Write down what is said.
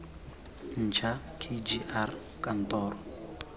ntšha k g r kantoro